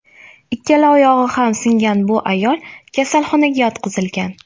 Ikkala oyog‘i ham singan bu ayol kasalxonaga yotqizilgan.